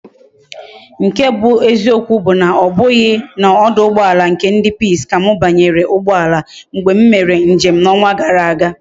Nke bu eziokwu bu na obughi na oduugboala nke ndi peace ka m banyere ugboala mgbe m mere njem na onwa gara aga